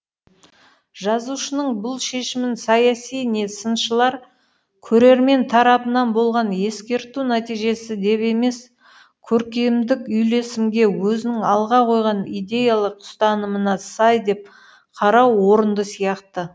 жазушының бұл шешімін саяси не сыншылар көрермен тарапынан болған ескерту нәтижесі деп емес көркемдік үйлесімге өзінің алға қойған идеялық ұстанымына сай деп қарау орынды сияқты